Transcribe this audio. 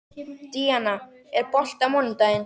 Díana, er bolti á mánudaginn?